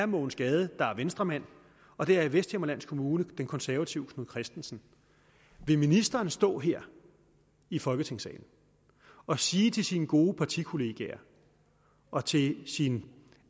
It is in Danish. mogens gade der er venstremand og det er i vesthimmerland kommune den konservative knud kristensen vil ministeren stå her i folketingssalen og sige til sine gode partikollegaer og til sin